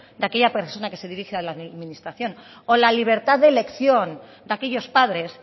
de aquella persona que se dirige a la administración o la libertad de elección de aquellos padres